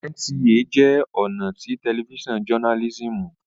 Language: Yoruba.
NTA jẹ́ ọ̀nà tí tẹlifísàn jọnálísìmù